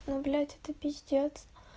ну блять это пиздец